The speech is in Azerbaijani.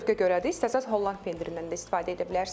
Bu zövqə görədir, istəsəniz holland pendirindən də istifadə edə bilərsiniz.